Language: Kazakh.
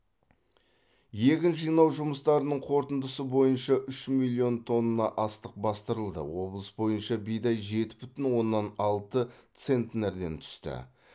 егін жинау жұмыстарының қорытындысы бойынша үш миллион тонна астық бастырылды облыс бойынша бидай жеті бүтін оннан алты центнерден түсті